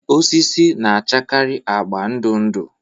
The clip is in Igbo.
Osisi na-achakarị agba ndụ ndụ